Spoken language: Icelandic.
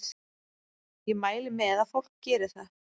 Ég mæli með að fólk geri það.